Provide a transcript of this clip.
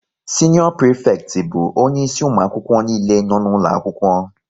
Sinior prifekti bụ onye isi ụmụ akwụkwọ nile nọ n'ụlọ akwụkwọ